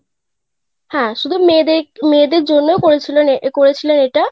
হ্যাঁ শুধু মেয়েদে~ মেয়েদের জন্যেই করেছিলে~ করেছিলেন এইটা,